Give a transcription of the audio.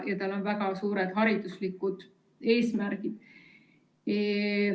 Ja sel on väga suured hariduslikud eesmärgid.